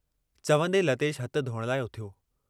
चवन्दे लतेश हथ धोअण लाइ उथियो।